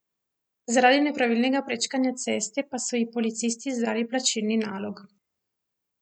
Zaradi nepravilnega prečkanje ceste pa so ji policisti izdali plačilni nalog.